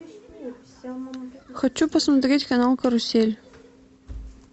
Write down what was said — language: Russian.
хочу посмотреть канал карусель